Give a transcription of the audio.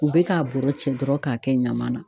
U bɛ k'a bɔrɔ cɛ dɔrɔn k'a kɛ ɲaman na.